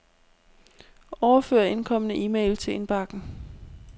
Overfør indkomne e-mail til indbakken.